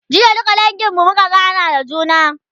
jiya duka dangin mu muka gana da juna